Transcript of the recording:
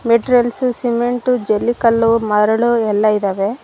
Materials cement ಜಲ್ಲಿ ಕಲ್ಲು ಮರಳು ಎಲ್ಲ ಇದಾವೆ.